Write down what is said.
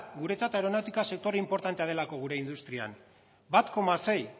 guretzat aeronautika sectore inportantea delako gure industrian bat koma sei